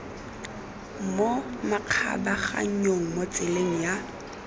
mo makgabaganyong mo tseleng ya